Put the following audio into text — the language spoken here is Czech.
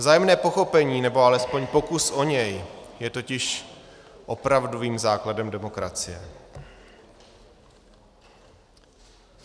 Vzájemné pochopení, nebo alespoň pokus o ně je totiž opravdovým základem demokracie.